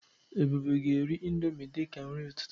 Ebube ga eri indọmii dịka nri ụtụtụ.